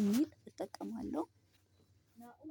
ኢሜል እጠቀማለሁ።